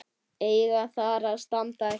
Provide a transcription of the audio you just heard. eiga þar að standa hjá.